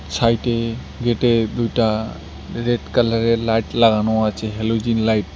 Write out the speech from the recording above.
সাইটে গেটে দুইটা রেড কালারের লাইট লাগানো আছে হ্যালোজিন লাইট ।